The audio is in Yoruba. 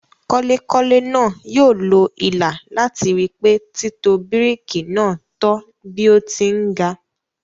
Kọ́lekọ́le náà yóò lo ilà làti ri pé títò bíríkì náà tọ́ bí ó ti ń ga.